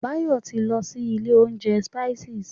Báyọ̀ ti lọ sí ilé oúnjẹ Spices.